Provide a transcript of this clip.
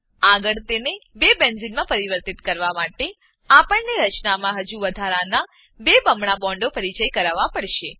આગળ તેને બેન્ઝેને બેન્ઝીન માં પરિવર્તિત કરવા માટે આપણને રચનામાં હજુ વધારાનાં બે બમણા બોન્ડો પરિચય કરાવવા પડશે